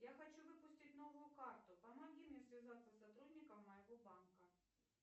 я хочу выпустить новую карту помоги мне связаться с сотрудником моего банка